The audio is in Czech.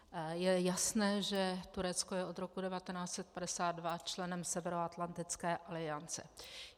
Je jasné, že Turecko je od roku 1952 členem Severoatlantické aliance.